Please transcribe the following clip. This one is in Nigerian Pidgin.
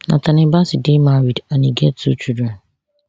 nathanial bassey dey married and e get two children